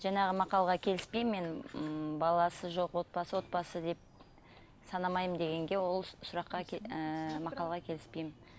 жаңағы мақалға келіспеймін мен ммм баласы жоқ отбасы отбасы деп санамаймын дегенге ол сұраққа ііі мақалға келіспеймін